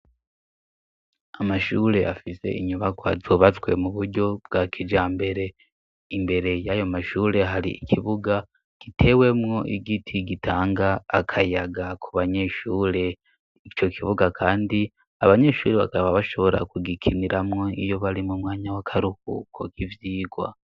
Amashure afise inyubako zubatswe mu buryo bwa kijambere. Imbere y'ayo mashure, har'ikibuga gitewemwo igiti gitanga akayaga ku banyeshure. Ico kibuga kandi abanyeshuri bakaba bashobora kugikiniramwo iyo bari mu mwanya w'akaruhuko k'ivyigwa.